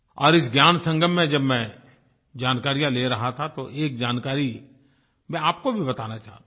और इस ज्ञानसंगम में जब मैं जानकारियाँ ले रहा था तो एक जानकारी मैं आपको भी बताना चाहता हूँ